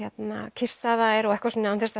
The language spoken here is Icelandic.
kyssa þær og eitthvað svona án þess að